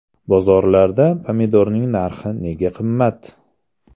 Bozorlarda pomidorning narxi nega qimmat?